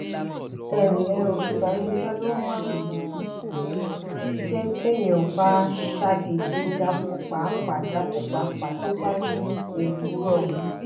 ẹ ǹlẹ́ o! ìbànújẹ́ ló máa ń jẹ́ téèyàn bá ṣàdédé dákú pàápàá dákú pàápàá tó bá ní òwúrọ̀